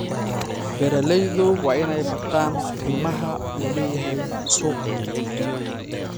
Beeraleydu waa inay bartaan qiimaha uu leeyahay suuqa.